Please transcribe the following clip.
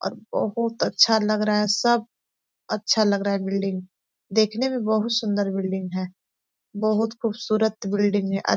और बहुत अच्छा लग रहा है सब अच्छा लग रहा है बिल्डिंग देखने में बहुत सुन्दर बिल्डिंग है बहुत खुबसूरत बिल्डिंग है आ --